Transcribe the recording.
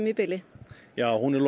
í bili já hún er